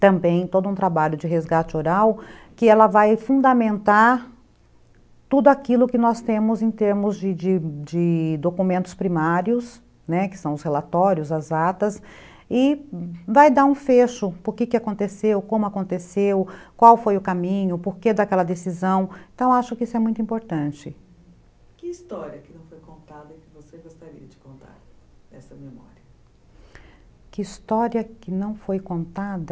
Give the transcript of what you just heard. também todo um trabalho de resgate oral que ela vai fundamentar tudo aquilo que nós temos em termos de de de documentos primários, né, que são os relatórios, as atas e vai dar um fecho, porque que aconteceu, como aconteceu, qual foi o caminho, porque daquela decisão, então acho que isso é muito importante. Que história que não foi contada que você gostaria de contar essa memória? que história que não foi contada...